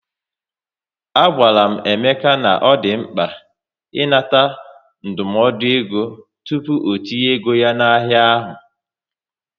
A gwara m Emeka na ọ dị mkpa ị nata ndụmọdụ égo tupu ọtinye ego ya na ahịa ahụ